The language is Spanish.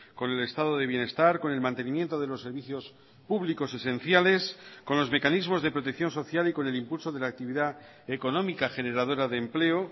con el estado de bienestar con el mantenimiento de los servicios públicos esenciales con los mecanismos de protección social y con el impulso de la actividad económica generadora de empleo